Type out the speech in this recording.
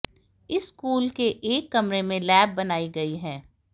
इस स्कूल के एक कमरे में लैब बनाई गई है